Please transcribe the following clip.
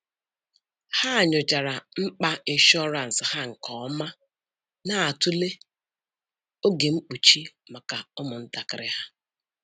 Ha nyochara mkpa ịshọransị ha nke ọma, na-atụle oge mkpuchi maka ụmụntakịrị ha.